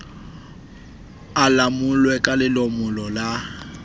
a lomolwe ka lelomolo la